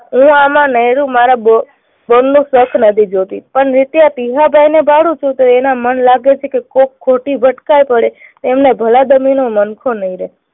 હું આમાં મારા બોલનું સથ નથી જોતી પણ નિત્યા ટીહાભાઈને ભાડું છૂટે. એના મન લાગે છે કે કોઈ ખોટી ભટકાઈ પડે તો એમને ભલાબંધીનું નમખો નહી રહે.